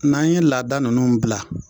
N'an ye laadada ninnu bila